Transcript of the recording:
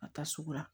Ka taa sugu la